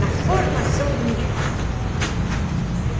Na formação do indivíduo. Uhum.